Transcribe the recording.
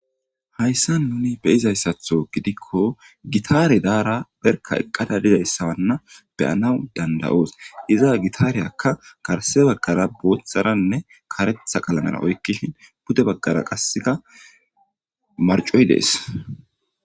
hayssa nuni beyizayssatho gidikko gitaare daara perka eqqada dizayssawanna beyana dandayoos iza gitaareyakka karse baggara booththaranne karetha qalanara oykkishin pude baggara qasseka marcoy dees